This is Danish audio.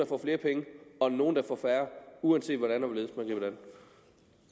får flere penge og nogle der får færre uanset hvordan